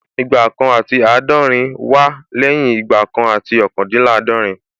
Igba kan àti àádọ́rin wá lẹ́yìn Igba kan àti ọ́kàndínláàdọ̀rín